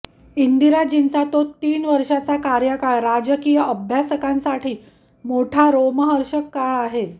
इंदिराजींचा तो तीन वर्षाचा कार्यकाळ राजकीय अभ्यासकांसाठी मोठा रोमहर्षक काळ आहे